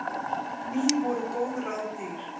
Ný voru góð ráð dýr.